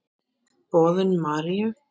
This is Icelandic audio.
Boðun Maríu.